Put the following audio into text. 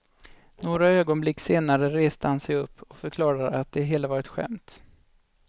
Några ögonblick senare reste han sig upp och förklarade att det hela var ett skämt.